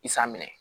I sa minɛ